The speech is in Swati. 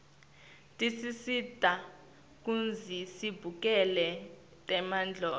tisisita kutsi sibukele temdlalo